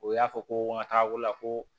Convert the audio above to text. O y'a fɔ ko n ka taga ko la ko